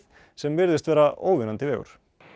sem virðist vera óvinnandi vegur